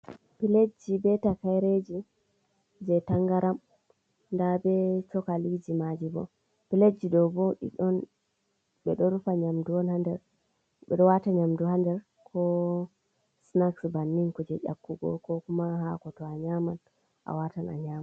Pilejji be takayreeji jey tanngaram, ndaa be cookaliiji maaji bo. Pilejji ɗoo bo, ɗi ɗon, ɓe ɗon rufa nyamdu on haa nder, ɓe ɗo waata nyamdu haa nder, ko sinaks bannin, kuje ƴakkugo, ko kuma haako, to a nyaaman, a waatan a nyaama.